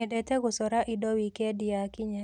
Nyendete gũcora indo wikendi yakinya.